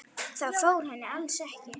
Það fór henni alls ekki.